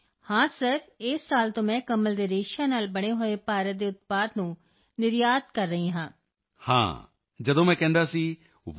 ਹਾਂ ਸ਼੍ਰੀਮਾਨ ਜੀ ਹਾਂ ਸਰ ਇਸ ਸਾਲ ਤੋਂ ਮੈਂ ਕਮਲ ਦੇ ਰੇਸ਼ਿਆਂ ਨਾਲ ਬਣੇ ਹੋਏ ਭਾਰਤ ਦੇ ਉਤਪਾਦ ਨੂੰ ਨਿਰਯਾਤ ਕਰ ਰਹੀ ਹਾਂ yes sir from this year I export our product made in India lotus fibre